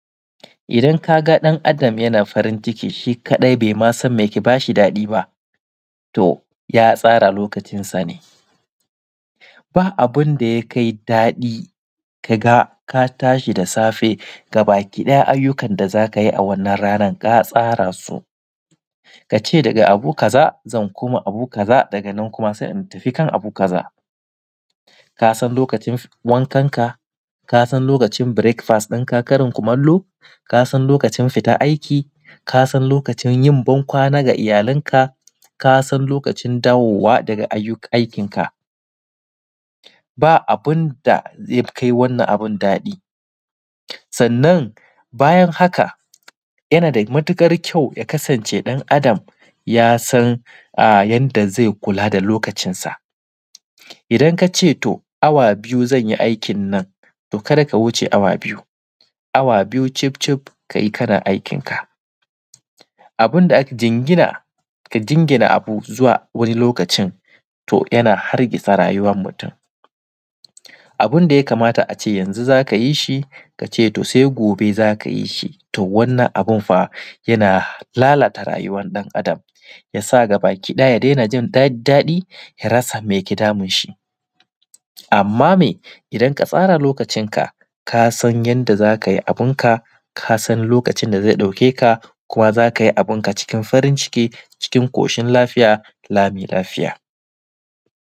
Idan kaga ɗan Adam yana farin ciki shi kaɗai bai masan meke bashi daɗi ba to ya tsara lokacin sane. Ba abundayakai daɗi kaga katashi da safe gabaki ɗaya ayyukan da zakayi a wannan ranan ka tsarasu kace daga abu kaza zan koma abu kaza daga nan kuma zan tafi kan abu kaza. Kasan lokacin wankan ka, kasan lokacin birek fas Karin kumallo, kasan lokacin fita aiki, kasan lokacin yin bankwana da iyyalan ka, kasan lokacin dawowa daga aikin ka. Ba abun da yakai wannan abun daɗa sannan bayan haka yana da matuƙar kyau ya kasance ɗan Adam yasan yanda zai kula da lokacin sa idan kace to awa biyu zanyi aikin nanto kada ka wuce awa biyu awa biyu cifcifkayi kana aikin ka. Jingina ka jingina abu zuwa wani lokacin to yana hargitsa rayuwan mutum abunda yakamata ace yanzu zakayi shi kace sai gobe zakayi shi to wannan abun fa yana lalata rayuwan ɗan Adam, yasa gabaki ɗaya ya dainajin daɗi ya rasa mai ke damun shi amma me idan katsara lokacin ka kasan yanda zakayi abun ka kasan lokacin da zai ɗauke kuma zakiyi abun ka cikin farinciki, cikin ƙoshin lafiya, lami lafiya.